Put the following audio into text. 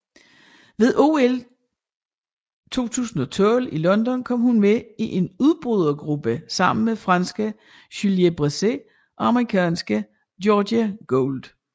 Ved OL 2012 i London kom hun med i en udbrydergruppe sammen med franske Julie Bresset og amerikansk Georgia Gould